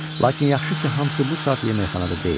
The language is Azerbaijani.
Lakin yaxşı ki, hamısı bu saat yeməkxanada deyildi.